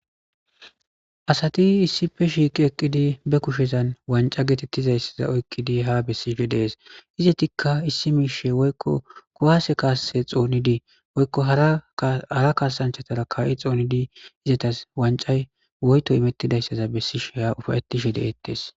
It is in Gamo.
asati issife shiiqi eqqidi be kushezan wanca geetettizayssaza oykkidi ha bessishe dees iza tikka issi miishe woykko kuwaase kaasse xoonidii woykko hara kaasanchatara kaa7i xoonidi izatas wancay woyto imettidayssaza bessisheha ufaettishe deettes